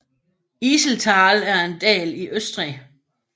Iseltal er en dal i Østrig